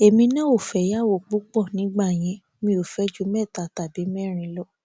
èmi náà ò fẹyàwó púpọ nígbà yẹn mi ò fẹ ju mẹta tàbí mẹrin lọ